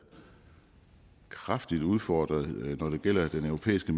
kraftigt udfordret når det gælder den europæiske